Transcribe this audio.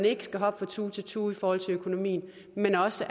ikke skal hoppe fra tue til tue i forhold til økonomien men også